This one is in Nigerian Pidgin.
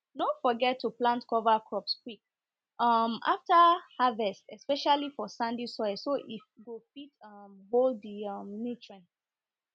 no forget to plant cover crops quick um after harvest especially for sandy soil so e go fit um hold the um nutrients